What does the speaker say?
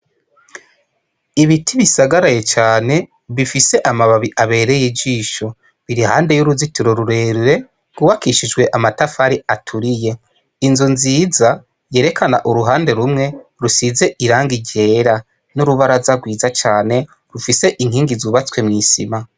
Ibiti bisagaraye cane bifise amababi abereye ijisho biri iruhande yuruzitiro rurerure gubakishijwe amatafari aturiye inzu nziza yerekana uruhande rumwe rusize irangi ryera nurubaraza rwiza cane rufise inkingi zubatswe mwisima